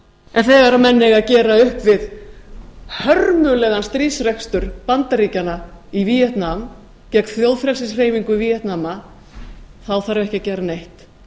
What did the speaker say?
en þegar menn eiga að gera upp við hörmulegan stríðsrekstur bandaríkjanna í víetnam gegn þjóðfrelsishreyfingu víetnam þá þarf ekki að gera neitt